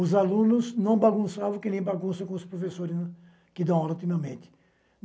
Os alunos não bagunçavam que nem bagunçam com os professores que dão aula, ultimamente.